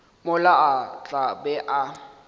mola a tla be a